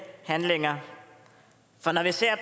handlinger for når vi ser